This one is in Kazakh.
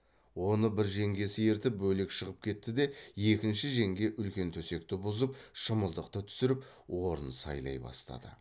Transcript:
оны бір жеңгесі ертіп бөлек шығып кетті де екінші жеңге үлкен төсекті бұзып шымылдықты түсіріп орын сайлай бастады